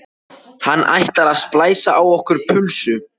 Hann ætlar að splæsa á okkur pulsu!